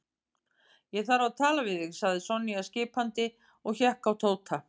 Ég þarf að tala við þig sagði Sonja skipandi og hékk á Tóta.